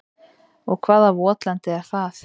Og hvaða votlendi er það?